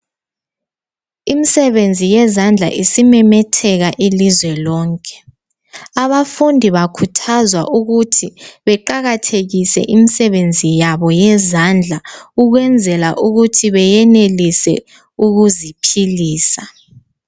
Imisebenzi yezandla isimemetheka ilizwe lonke, abafundi bakhuthazwa ukuthi beqakathekise imsebenzi yabo yezandla ukwenzela ukuthi beyenelise ukuziphilisa.